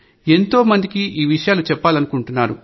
ఎంతో మందికి ఈ విషయాలను చెప్పాలనుకుంటున్నాను